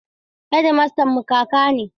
Hedimastanmu kaka ne.